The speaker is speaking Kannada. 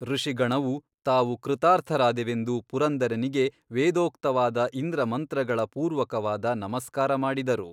ಋಷಿಗಣವು ತಾವು ಕೃತಾರ್ಥರಾದೆವೆಂದು ಪುರಂದರನಿಗೆ ವೇದೋಕ್ತವಾದ ಇಂದ್ರಮಂತ್ರಗಳ ಪೂರ್ವಕವಾದ ನಮಸ್ಕಾರ ಮಾಡಿದರು.